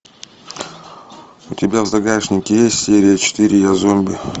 у тебя в загашнике есть серия четыре я зомби